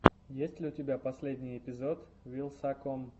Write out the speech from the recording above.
есть ли у тебя последний эпизод вилсаком